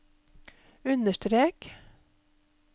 understrek